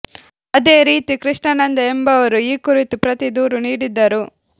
ಅದೇ ರೀತಿ ಕೃಷ್ಣಾನಂದ ಎಂಬವರು ಈ ಕುರಿತು ಪ್ರತಿ ದೂರು ನೀಡಿದ್ದರು